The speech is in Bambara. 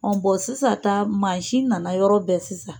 Ɔ bɔn sisan ta, mansin nana yɔrɔ bɛɛ sisan.